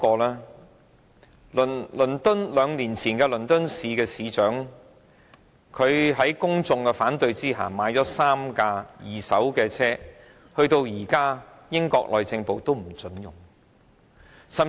兩年前，倫敦市市長在公眾反對下購買了3輛二手的水炮車，英國內政部至今仍不准使用。